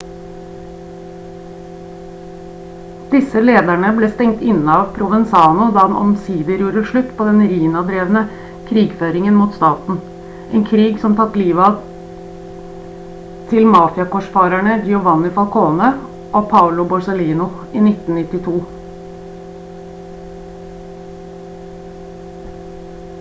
disse lederne ble stengt inne av provenzano da han omsider gjorde slutt på den riina-drevne krigføringen mot staten en krig som tatt livet til mafia-korsfarerne giovanni falcone og paolo borsellino i 1992»